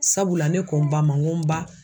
Sabula ne ko n ba ma n ko n ba